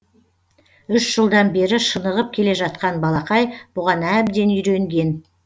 үш жылдан бері шынығып келе жатқан балақай бұған әбден үйренген